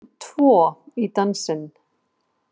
Það þurfti tvo í dansinn